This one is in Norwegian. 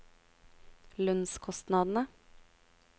lønnskostnadene